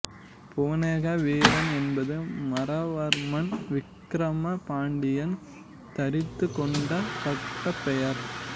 புவனேக வீரன் என்பது மாறவர்மன் விக்கிரம பாண்டியன் தரித்துக்கொண்ட பட்டப்பெயர்